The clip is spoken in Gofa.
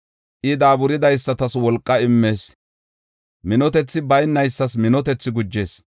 I daaburidaysatas wolqa immees; minotethi baynaysas minotethi gujees.